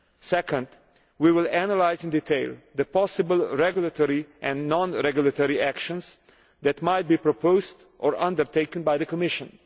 Secondly, we will analyse in detail the possible regulatory and non regulatory actions that might be proposed or undertaken by the Commission.